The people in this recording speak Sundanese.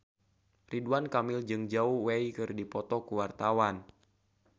Ridwan Kamil jeung Zhao Wei keur dipoto ku wartawan